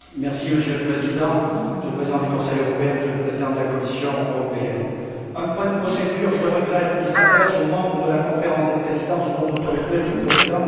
Monsieur le Président, Monsieur le Président du Conseil européen, Monsieur le Président de la Commission, j'interviens pour un point de procédure qui s'adresse aux membres de la Conférence des présidents sous votre autorité, Monsieur le Président.